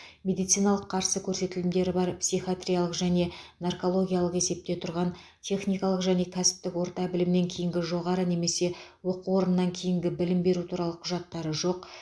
медициналық қарсы көрсетілімдері бар психиатриялық және наркологиялық есепте тұрған техникалық және кәсіптік орта білімнен кейінгі жоғары немесе жоғары оқу орнынан кейінгі білімі туралы құжаттары жоқ